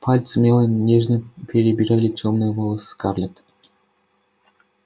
пальцы мелани нежно перебирали тёмные волосы скарлетт